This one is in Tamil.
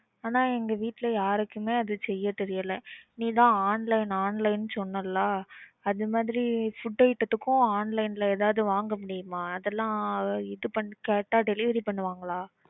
ஆனா எங்க வீட்ல யாருக்குமே அது செய்ய தெரியல. நீ தான் online, online ன்னு சொன்னல அதுமாதிரி food item த்துக்கும் எதாவது online ல வாங்க முடியுமா? அதெல்லாம் இது பண்ணி கேட்டா delivery பண்ணுவாங்களா?